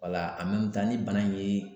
ni bana ye